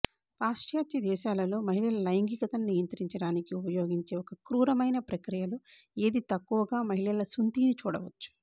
పాశ్చాత్య దేశాలలో మహిళల లైంగికతని నియంత్రించడానికి ఉపయోగించే ఒక క్రూరమైన ప్రక్రియలో ఏది తక్కువగా మహిళల సున్తీని చూడవచ్చు